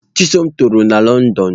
Chisom toro na Lọndọn.